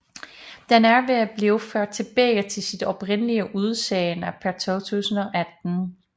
Den er ved at blive ført tilbage til sit oprindelige udseende pr 2018